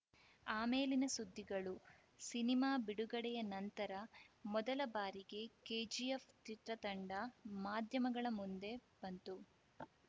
ಆಮೇಲಿನ ಸುದ್ದಿಗಳು ಸಿನಿಮಾ ಬಿಡುಗಡೆಯ ನಂತರ ಮೊದಲ ಬಾರಿಗೆ ಕೆಜಿಎಫ್‌ ಚಿತ್ರತಂಡ ಮಾಧ್ಯಮಗಳ ಮುಂದೆ ಬಂತು